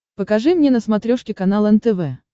покажи мне на смотрешке канал нтв